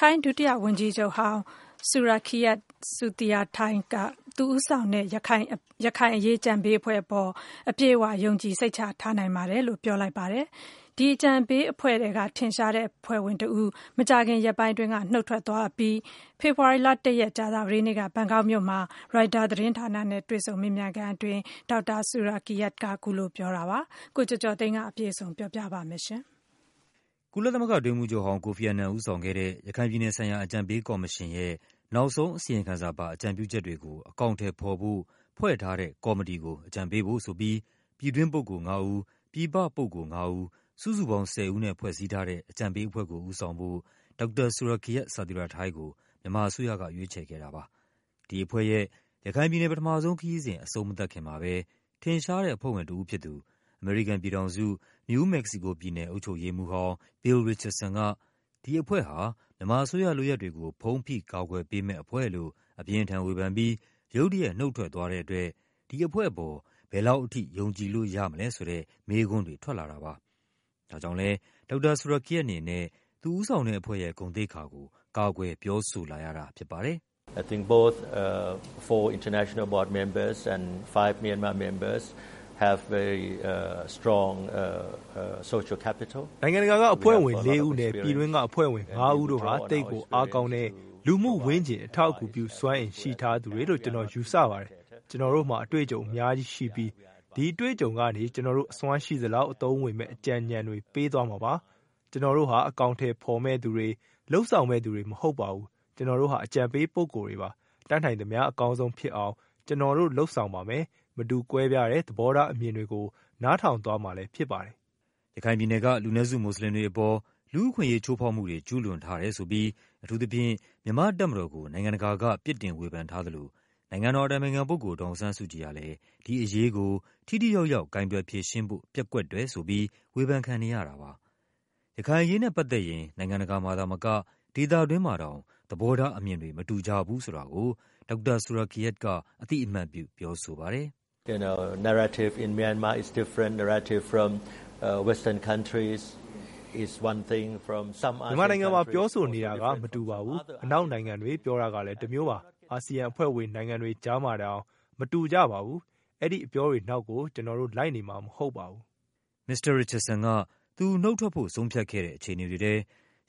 ထိုင်းဒုတိယဝန်ကြီးချုပ်ဟောင်း Surakiart Sathirathai က သူဦးဆောင်တဲ့ ရခိုင်အရေး အကြံပေးအဖွဲ့အပေါ် အပြည့်အဝ ယုံကြည်စိတ်ချထားနိုင်ပါတယ်လို့ ပြောလိုက်ပါတယ်။ ဒီအကြံပေးအဖွဲ့ထဲက ထင်ရှားတဲ့အဖွဲ့ဝင်တဦး မကြာခင် ရက်ပိုင်းအတွင်းက နုတ်ထွက်သွားအပြီး ဖေဖော်ဝါရီလ ၁ ရက်၊ ကြာသပတေးနေ့က ဘန်ကောက်မြို့မှာ ရိုက်တာသတင်းဌာနနဲ့ တွေ့ဆုံမေးမြန်းခန်းအတွင်း ဒေါက်တာဆူရာကီယတ်က အဲဒီလိုပြောတာပါ။ ကိုကျော်ကျော်သိန်းက အပြည့်အစုံပြောပြပါမယ်။ ကုလသမဂ္ဂအတွင်းရေးမှူးချုပ်ဟောင်း ကိုဖီ အာနန် ဦးဆောင်ခဲ့တဲ့ ရခိုင်ပြည်နယ်ဆိုင်ရာ အကြံပေးကော်မရှင်ရဲ့ နောက်ဆုံးအစီရင်ခံစာပါ အကြံပြုချက်တွေကို အကောင်အထည်ဖော်ဖို့ ဖွဲ့ထားတဲ့ ကော်မတီကို အကြံပေးဖို့ဆိုပြီး ပြည်တွင်း ပုဂ္ဂိုလ်ငါးဦး၊ ပြည်ပပုဂ္ဂိုလ်ငါးဦး စုစုပေါင်း ၁၀ ဦးနဲ့ ဖွဲ့စည်းထားတဲ့ အကြံပေးအဖွဲ့ကို ဦးဆောင်ဖို့ ဒေါက်တာ ဆူရာကီယတ် ဆာသီရာထိုင်းကို မြန်မာအစိုးရက ရွေးချယ်ခဲ့တာပါ။ ဒီအဖွဲ့ရဲ့ ရခိုင်ပြည်နယ် ပထမဆုံးခရီးစဉ် အဆုံးမသတ်ခင်မှာပဲ ထင်ရှားတဲ့အဖွဲ့ဝင်တဦးဖြစ်သူ အမေရိကန်ပြည်ထောင်စု၊ နယူး မက္ကဆီကိုပြည်နယ် အုပ်ချုပ်ရေးမှူးဟောင်း ဘီလ် ရစ်ချတ်ဆန်က ဒီအဖွဲ့ဟာ မြန်မာအစိုးရလုပ်ရပ်တွေကို ဖုံးဖိကာကွယ်ပေးမယ့် အဖွဲ့လို့ အပြင်းအထန်ဝေဖန်ပြီး ရုတ်တရက် နုတ်ထွက်သွားတဲ့အတွက် ဒီအဖွဲ့အပေါ် ဘယ်လောက်ထိ ယုံကြည်လို့ရမလဲဆိုတဲ့ မေးခွန်းတွေ ထွက်လာတာပါ။ ဒါကြောင့်လည်း ဒေါက်တာဆူရာကီယတ်အနေနဲ့ သူဦးဆောင်တဲ့အဖွဲ့ရဲ့ ဂုဏ်သိက္ခာကို ကာကွယ် ပြောဆိုလာရတာဖြစ်ပါတယ်။ “နိုင်ငံတကာက အဖွဲ့ဝင်လေးဦးနဲ့ ပြည်တွင်းက အဖွဲ့ဝင်ငါးဦးတို့ဟာ သိပ်ကိုအားကောင်းတဲ့ လူမှုဝန်းကျင် အထောက် အကူပြုစွမ်းအင် ရှိထားသူတွေလို့ ကျနော်ယူဆပါတယ်။ ကျနော်တို့မှာ အတွေ့အကြုံအများကြီးရှိပြီး ဒီအတွေ့အကြုံတွေကနေ ကျနော်တို့အစွမ်းရှိသလောက် အသုံးဝင်မယ့်အကြံဉာဏ်တွေ ပေးသွားမှာပါ။ ကျနော်တို့ဟာ အကောင်အထည်ဖော်မယ့်သူတွေ၊ လုပ်ဆောင်မယ့်သူတွေ မဟုတ်ပါဘူး။ ကျနော်တို့က အကြံပေးပုဂ္ဂိုလ်တွေပါ။ တတ်နိုင်သမျှ အကောင်းဆုံးဖြစ်အောင် ကျနော်တို့ လုပ်ဆောင်ပါမယ်။ မတူကွဲပြားတဲ့ သဘောထားအမြင်တွေကို နားထောင်သွားမှာဖြစ်ပါတယ်။” ရခိုင်ပြည်နယ်က လူနည်းစုမွတ်ဆလင်တွေအပေါ် လူ့အခွင့်အရေးချိုးဖောက်မှုတွေ ကျူးလွန်ထားတယ်ဆိုပြီး အထူးသဖြင့် မြန်မာ့ တပ်မတော်ကို နိုင်ငံတကာက ပြစ်တင်ဝေဖန်ထားသလို နိုင်ငံတော်အတိုင်ပင်ခံပုဂ္ဂိုလ် ဒေါ်အောင်ဆန်းစုကြည်ဟာလည်း ဒီအရေး ကို ထိထိရောက်ရောက် ကိုင်တွယ်ဖြေရှင်းဖို့ ပျက်ကွက်တယ်ဆိုပြီး ဝေဖန်ခံနေရတာပါ။ ရခိုင်အရေးနဲ့ပတ်သက်ရင် နိုင်ငံတကာမှာသာမက ဒေသတွင်းမှာတောင် သဘောထားအမြင်တွေ မတူကြဘူးဆိုတာကို ဒေါက်တာဆူရာကီယတ်က အသိအမှတ်ပြု ပြောဆိုပါတယ်။ “မြန်မာနိုင်ငံမှာ ပြောဆိုနေတာက မတူပါဘူး။ အနောက်နိုင်ငံတွေ ပြောတာကလည်း တမျိုးပါ။ အာဆီယံအဖွဲ့ဝင် နိုင်ငံ တွေကြားထဲမှာတောင် မတူကြပါဘူး။ အဲဒီအပြောတွေနောက်ကို ကျနော်တို့ လိုက်နေမှာမဟုတ်ပါဘူး။” မစ္စတာရစ်ချတ်ဆန်က သူနုတ်ထွက်ဖို့ ဆုံးဖြတ်ခဲ့တဲ့ အခြေအနေတွေထဲ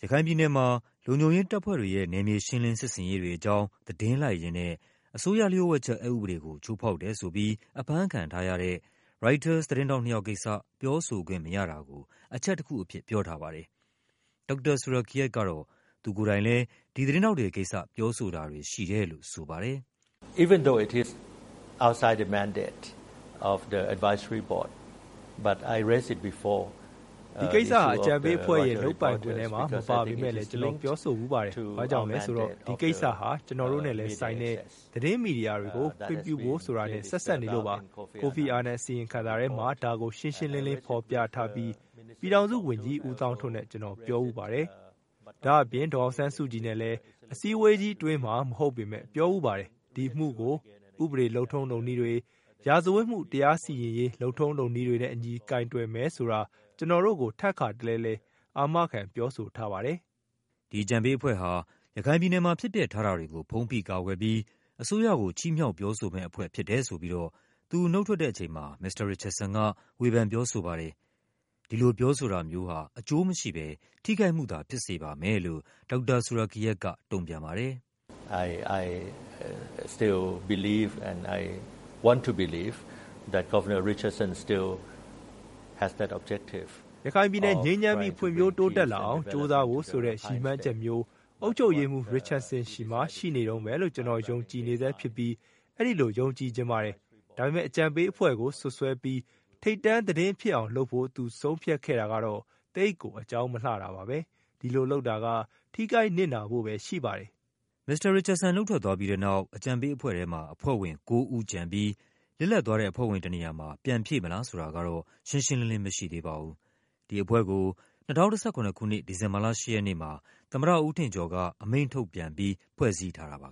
ရခိုင်ပြည်နယ်မှာ လုံခြုံရေးတပ်ဖွဲ့တွေရဲ့ နယ်မြေ ရှင်းလင်း စစ်ဆင်ရေးတွေအကြောင်း သတင်းလိုက်ရင်းနဲ့ အစိုးရလျှို့ဝှက်ချက် အက်ဥပဒေကို ချိုးဖောက်တယ်ဆိုပြီး အဖမ်းခံ ထားရတဲ့ ရိုက်တာသတင်းထောက်နှစ်ယောက်ကိစ္စ ပြောဆိုခွင့်မရတာကို အချက်တခုအဖြစ် ပြောထားပါတယ်။ ဒေါက်တာဆူရာကီယတ်ကတော့ သူကိုယ်တိုင်လည်း ဒီသတင်းထောက်တွေကိစ္စ ပြောဆိုတာတွေရှိတယ်လို့ ဆိုပါတယ်။ “ဒီကိစ္စဟာ အကြံပေးအဖွဲ့ရဲ့ လုပ်ပိုင်ခွင့်ထဲမှာမပါပေမဲ့လည်း ကျနော် ပြောဆိုဖူးပါတယ်။ ဘာ့ကြောင့်လည်းဆိုတော့ ဒီကိစ္စဟာ ကျနော်တို့နဲ့လည်းဆိုင်တဲ့ သတင်းမီဒီယာတွေကို ခွင့်ပြုဖို့ဆိုတာနဲ့ ဆက်စပ်နေလို့ပါ။ ကိုဖီ အာနန်အစီရင်ခံစာထဲမှာ ဒါကိုရှင်းရှင်းလင်းလင်းဖော်ပြထားပြီး ပြည်ထောင်စုဝန်ကြီး ဦးသောင်းထွန်းနဲ့ ကျနော်ပြောဖူးပါတယ်။ ဒါ့အပြင် ဒေါ်အောင်ဆန်းစု ကြည်နဲ့လည်း အစည်းအဝေးကြီးအတွင်းမှာ မဟုတ်ပေမယ့် ပြောဖူးပါတယ်။ ဒီအမှုကို ဥပဒေ လုပ်ထုံးလုပ်နည်းတွေ၊ ရာဇဝတ်မှု တရားစီရင်ရေး လုပ်ထုံးလုပ်နည်းတွေနဲ့အညီ ကိုင်တွယ်မယ်ဆိုတာ ကျနော်တို့ကို ထပ်ခါတလဲလဲ အာမခံ ပြောဆိုထားပါတယ်။” ဒီအကြံပေးအဖွဲ့ဟာ ရခိုင်ပြည်နယ်မှာ ဖြစ်ပျက်ထားတာတွေကို ဖုံးဖိကာကွယ်ပြီး အစိုးရကို ချီးမြှောက်ပြောဆိုမယ့်အဖွဲ့ ဖြစ်တယ် ဆိုပြီး သူနုတ်ထွက်တဲ့အချိန်မှာ မစ္စတာရစ်ချတ်ဆန်က ဝေဖန် ပြောဆိုခဲ့ပါတယ်။ ဒီလိုပြောဆိုတာမျိုးဟာ အကျိုးမရှိဘဲ ထိခိုက်မှု သာ ဖြစ်စေပါမယ်လို့ ဒေါက်တာဆူရာကီယတ်က တုန့်ပြန်ပါတယ်။ “ရခိုင်ပြည်နယ် ငြိမ်းချမ်းပြီး ဖွံ့ဖြိုးတိုးတက်လာအောင် ကြိုးစားဖို့ဆိုတဲ့ ရည်မှန်းချက်မျိုး အုပ်ချုပ်ရေးမှူး ရစ်ချတ်ဆန်ဆီမှာ ရှိနေတုန်းပဲလို့ ကျနော်ယုံကြည်ဆဲဖြစ်ပြီး အဲဒီလိုယုံကြည်ချင်ပါတယ်။ ဒါပေမဲ့ အကြံပေးအဖွဲ့ကို စွပ်စွဲပြီး ထိပ်တန်းသတင်း ဖြစ်အောင်လုပ်ဖို့ သူ ဆုံးဖြတ်ခဲ့တာကတော့ သိပ်ကို အကြောင်းမလှတာပါပဲ။ ဒီလိုလုပ်တာက ထိခိုက်နစ်နာဖို့ပဲရှိပါတယ်။ မစ္စတာရစ်ချတ်ဆန် နုတ်ထွက်သွားပြီးတဲ့နောက် အကြံပေးအဖွဲ့ထဲမှာ အဖွဲ့ဝင်ကိုးဦးကျန်ပြီး လစ်လပ်သွားတဲ့ အဖွဲ့ဝင်တနေရာမှာ ပြန်ဖြည့်မလားဆိုတာကတော့ ရှင်းရှင်းလင်းလင်း မရှိသေးပါဘူး။ ဒီအဖွဲ့ကို ၂၀၁၇ ခုနှစ်၊ ဒီဇင်ဘာလ ၈ ရက်နေ့မှာ သမ္မတ ဦးထင်ကျော်က အမိန့်ထုတ်ပြန်ပြီး ဖွဲ့စည်းထားတာပါ